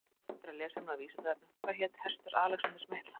Frekara lesefni á Vísindavefnum Hvað hét hestur Alexanders mikla?